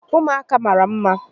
Ụmụaka mara mma